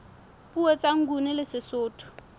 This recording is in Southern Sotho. puo tsa nguni le sesotho